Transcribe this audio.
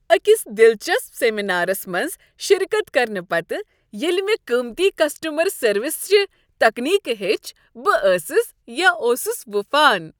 أکس دلچسپ سیمینارَس منٛز شرکت کرنہٕ پتہٕ، ییٚلہ مےٚ قیمتی کسٹٔمَر سروسِ چہ تکنیکہٕ ہیٚچھہٕ، بہٕ ٲسٕس یا اوٗسُس وُپھان